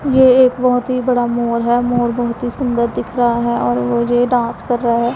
यह एक बहुत ही बड़ा मोर है मोर बहुत ही सुंदर दिख रहा है और वो ये डांस कर रहा है।